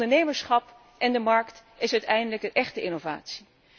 Het ondernemerschap en de markt zijn uiteindelijk de echte innovatie.